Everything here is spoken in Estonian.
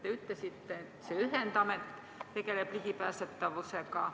Te ütlesite, et see ühendamet tegeleb ka ligipääsetavusega.